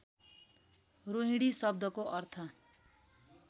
रोहिणी शब्दको अर्थ